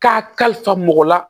K'a kalifa mɔgɔ la